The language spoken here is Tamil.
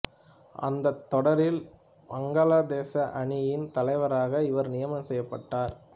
அந்தத் தொடரில் வங்காளதேச அ அணியின் தலைவராக இவர் நியமனம் செய்யப்பட்டார்